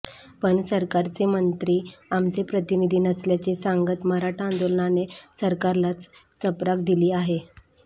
पण सरकारचे मंत्री आमचे प्रतिनिधी नसल्याचे सांगत मराठा आंदोलनाने सरकारलाच चपराक दिली आहे